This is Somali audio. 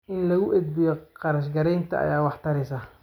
In lagu edbiyo kharash gareynta ayaa wax tareysa.